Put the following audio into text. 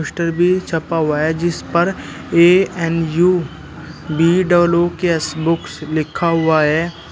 Poster भी छपा हुआ है जिस पर A N U B double O K S books लिखा हुआ है।